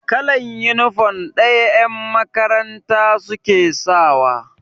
Kalan inifom ɗaya yan makaranta suke sawa